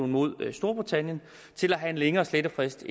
mod storbritannien til at have en længere slettefrist